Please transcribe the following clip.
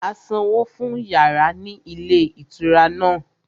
A sanwó fún yàrá ní ilé ìtura náà